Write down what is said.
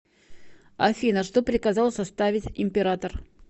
афина что приказал составить император